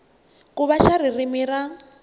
ku va xa ririmi ra